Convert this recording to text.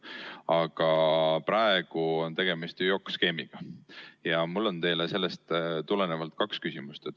Aga praegu on tegemist ju JOKK-skeemiga ja mul on teile sellest tulenevalt kaks küsimust.